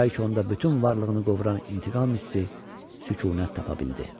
Bəlkə onda bütün varlığını qovuran intiqam hissi sükunət tapa bildi.